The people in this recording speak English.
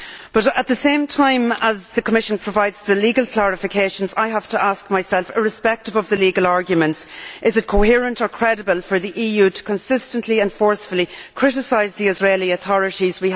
But at the same time as the Commission provides the legal clarifications, I have to ask myself, irrespective of the legal arguments, is it coherent or credible for the EU to consistently and forcefully criticise the Israeli authorities?